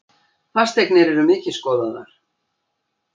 Fasteignir eru mikið skoðaðar